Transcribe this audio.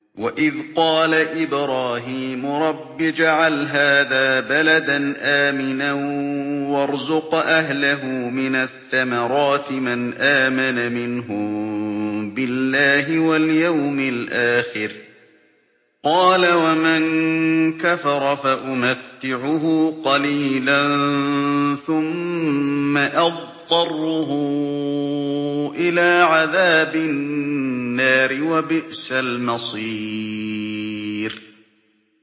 وَإِذْ قَالَ إِبْرَاهِيمُ رَبِّ اجْعَلْ هَٰذَا بَلَدًا آمِنًا وَارْزُقْ أَهْلَهُ مِنَ الثَّمَرَاتِ مَنْ آمَنَ مِنْهُم بِاللَّهِ وَالْيَوْمِ الْآخِرِ ۖ قَالَ وَمَن كَفَرَ فَأُمَتِّعُهُ قَلِيلًا ثُمَّ أَضْطَرُّهُ إِلَىٰ عَذَابِ النَّارِ ۖ وَبِئْسَ الْمَصِيرُ